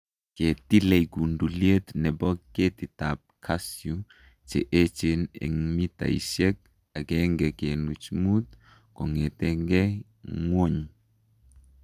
kitilei kunduliet ne bo keetikap Kasyu che eecheen eng' mitaisyek 1.5 kong'ete ng'wony.